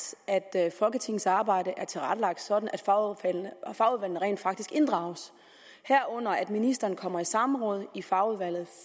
at folketingets arbejde er tilrettelagt sådan at fagudvalgene rent faktisk inddrages herunder at ministeren kommer i samråd i fagudvalget